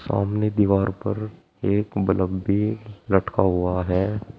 सामने दीवार पर एक बलब भी लटका हुआ है।